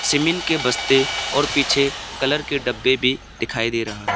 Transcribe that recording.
Cement के बस्ते और पीछे कलर के डब्बे भी दिखाई दे रहा है।